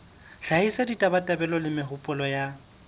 hlahisa ditabatabelo le mehopolo ya